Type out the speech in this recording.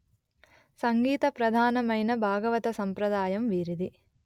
సంగీత ప్రధానమైన భాగవత సంప్రదాయం వీరిది